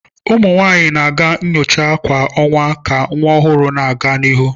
Ụmụ nwanyị na-aga nyocha kwa ọnwa ka nwa ọhụrụ na-aga n'ihu.